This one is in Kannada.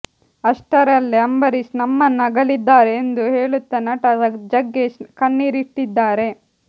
ಅಷ್ಟರಲ್ಲೇ ಅಂಬರೀಶ್ ನಮ್ಮನ್ನ ಅಗಲಿದ್ದಾರೆ ಎಂದು ಹೇಳುತ್ತಾ ನಟ ಜಗ್ಗೇಶ್ ಕಣ್ಣೀರಿಟ್ಟಿದ್ದಾರೆ